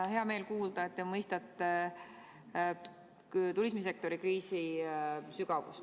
On hea meel kuulda, et te mõistate turismisektori kriisi sügavust.